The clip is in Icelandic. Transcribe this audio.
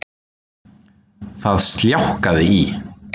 Það sljákkaði í